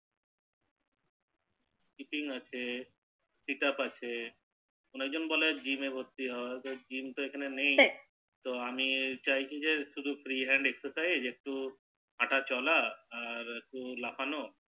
speaking আছে অনেকজন বলে Gym এ ভর্তি হো কিন্তু Gym তো এখানে নেই তো আমি চাইছি যে শুধু Free hendExerscise হাটা চলা আর লাফানো